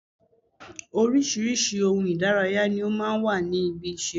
Oríṣiríṣi ohun Ìdárayá ni ó máa ń wà ní ibi ìṣeré